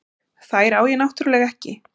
Þær á ég náttúrlega ekki.